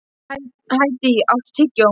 Hædý, áttu tyggjó?